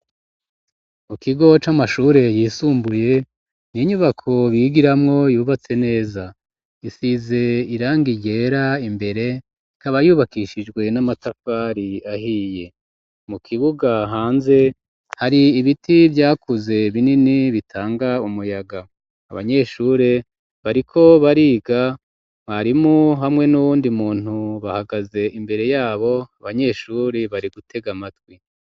Mu kigo c'amashure yisumbuye n'inyubako bigiramwo yubatse neza, isize irangi ryera imbere ikaba yubakishijwe n'amatapari ahiye, mu kibuga hanze hari ibiti vyakuze binini bitanga umuyaga ,abanyeshure bariko bariga mwarimu hamwe n'uwundi muntu bahagaze imbere yabo, abanyeshuri bari gutega amatwi.